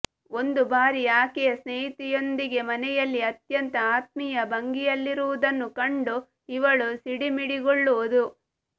ಒಂದು ಬಾರಿ ಆಕೆಯ ಸ್ನೇಹಿತೆಯೊಂದಿಗೆ ಮನೆಯಲ್ಲೇ ಅತ್ಯಂತ ಆತ್ಮೀಯ ಭಂಗಿಯಲ್ಲಿರುವುದನ್ನು ಕಂಡು ಇವಳು ಸಿಡಿಮಿಡಿಗೊಳ್ಳುವುದು